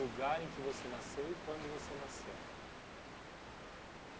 O lugar em que você nasceu e quando você nasceu.